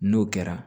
N'o kɛra